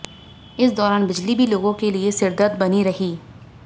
इस दौरान बिजली भी लोगों के लिए सिरदर्द बनी रही